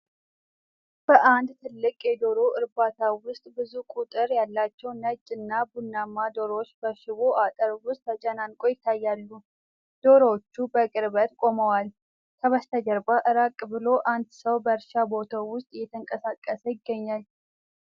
በአንድ ትልቅ የዶሮ እርባታ ውስጥ ብዙ ቁጥር ያላቸው ነጭ እና ቡናማ ዶሮዎች በሽቦ አጥር ውስጥ ተጨናንቀው ይታያሉ። ዶሮዎቹ በቅርበት ቆመዋል፤ ከበስተጀርባ ራቅ ብሎ አንድ ሰው በእርሻ ቦታው ውስጥ እየተንቀሳቀሰ ይገኛል።